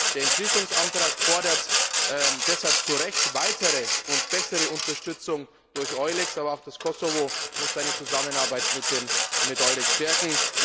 Der Entschließungsantrag fordert deshalb zu Recht weitere und bessere Unterstützung durch EULEX, aber auch das Kosovo muss seine Zusammenarbeit mit EULEXstärken.